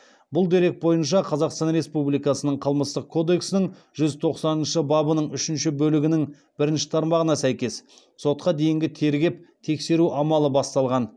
бұл дерек бойынша қазақстан республикасының қылмыстық кодексінің жүз тоқсаныншы бабының үшінші бөлігінің бірінші тармағына сәйкес сотқа дейінгі тергеп тексеру амалы басталған